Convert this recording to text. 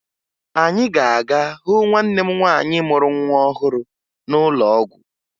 Anyị ga-aga hụ nwanne m nwaanyị mụrụ nwa ọhụrụ n'ụlọ ọgwụ